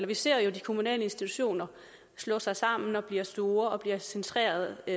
vi ser jo de kommunale institutioner slå sig sammen og blive store og blive centreret i